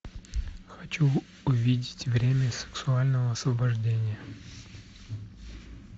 хочу увидеть время сексуального освобождения